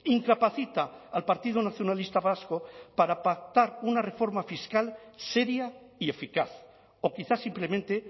incapacita al partido nacionalista vasco para pactar una reforma fiscal seria y eficaz o quizá simplemente